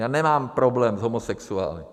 Já nemám problém s homosexuály.